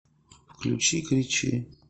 включи кричи